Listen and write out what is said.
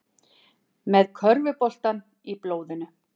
Með körfuboltann í blóðinu